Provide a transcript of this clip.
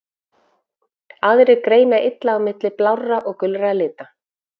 Aðrir greina illa á milli blárra og gulra lita.